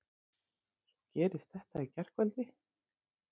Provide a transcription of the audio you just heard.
Svo gerist þetta í gærkvöldi!